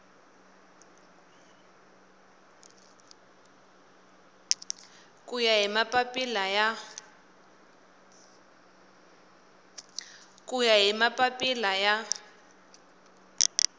ku ya hi mapapila ya